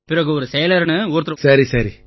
பிறகு ஒரு செயலர்னு யாரோ ஒருத்தர் வந்தாருய்யா